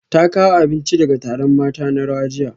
Ta kawo abinci daga taron mata na rawa jiya